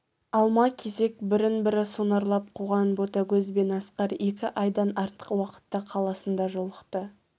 алма-кезек бірін-бірі сонарлап қуған ботагөз бен асқар екі айдан артық уақытта қаласында жолықты